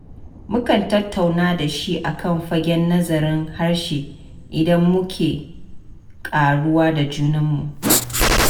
Mukan tattauna da shi a kan fagen nazarin harshe, inda muke ƙaruwa da junanmu.